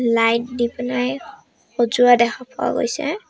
Light দি পেনেই সজোৱা দেখা পোৱা গৈছে।